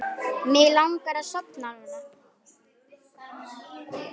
Mig langar að sofna núna.